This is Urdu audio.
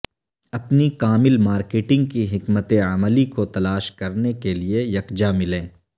اپنی کامل مارکیٹنگ کی حکمت عملی کو تلاش کرنے کے لئے یکجا ملیں